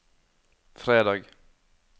fredag